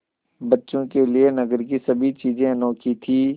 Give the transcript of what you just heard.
बच्चों के लिए नगर की सभी चीज़ें अनोखी थीं